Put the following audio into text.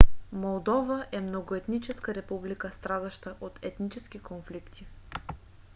молдова е многоетническа република страдаща от етнически конфликти